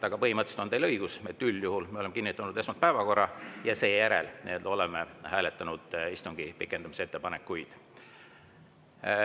Aga põhimõtteliselt on teil õigus, üldjuhul me oleme kinnitanud esmalt päevakorra ja seejärel oleme hääletanud istungi pikendamise ettepanekuid.